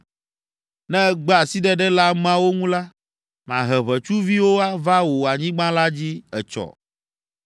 Ne ègbe asiɖeɖe le ameawo ŋu la, mahe ʋetsuviwo va wò anyigba la dzi etsɔ.